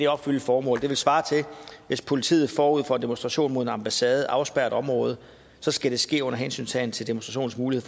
opfylde formålet det svarer til at hvis politiet forud for en demonstration mod en ambassade afspærrer et område så skal det ske under hensyntagen til demonstrationens